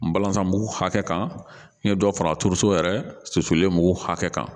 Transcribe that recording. N balantan bugu hakɛ kan dɔ fara turuso yɛrɛ suturalen mugu hakɛ kan